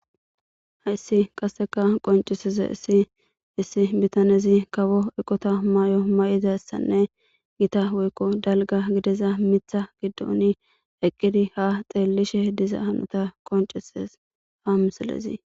Hayssi qasseka qoncisize issi issi bitanezi kawo eqota may'o may'izayssanne gita woykko dalga gideza mitha giddoni eqqidi haxeellishe diza hanota qoncises hamisalezi.